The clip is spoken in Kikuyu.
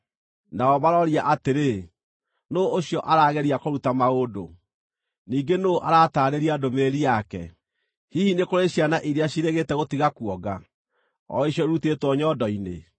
Nao maroria atĩrĩ, “Nũũ ũcio arageria kũruta maũndũ? Ningĩ nũũ arataarĩria ndũmĩrĩri yake? Hihi nĩ kũrĩ ciana iria ciĩrĩgĩte gũtiga kuonga, o icio irutĩtwo nyondo-inĩ?